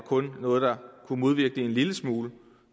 kun noget der kan modvirke det en lille smule